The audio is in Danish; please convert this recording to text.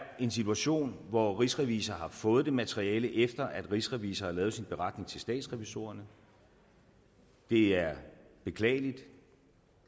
en situation hvor rigsrevisor har fået det materiale efter at rigsrevisor har lavet sin beretning til statsrevisorerne det er beklageligt